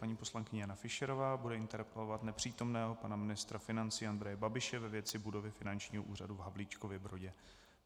Paní poslankyně Jana Fischerová bude interpelovat nepřítomného pana ministra financí Andreje Babiše ve věci budovy Finančního úřadu v Havlíčkově Brodě.